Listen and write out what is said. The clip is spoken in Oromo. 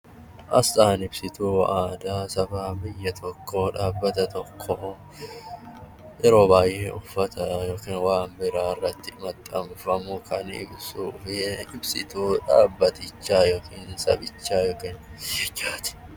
Asxaan ibsituu aadaa Saba tokkoo dhaabbata tokkoo yeroo baay'ee uffata yookiin wantoota garaagaraa irratti maxxanfamu kan ibsuu fi ibsituu dhaabbatichaa yookiin sabichaa yookaan biyyichaati